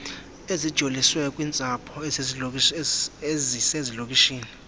ezijoliswe kwiintsapho ezisezilokishini